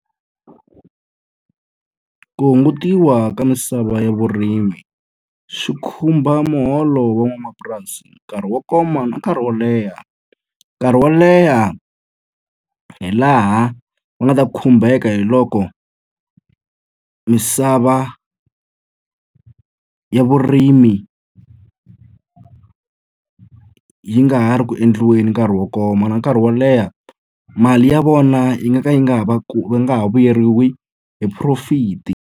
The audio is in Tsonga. Ku hungutiwa ka misava ya vurimi swi khumba muholo van'wamapurasi nkarhi wo koma na nkarhi wo leha. Nkarhi wo leha hi laha va nga ta khumbeka hi loko misava ya vurimi yi nga ha ri ku endliweni nkarhi wo koma. Na nkarhi wo leha, mali ya vona yi nga ka yi nga ha va nga ha vuyeriwi hi profit-i.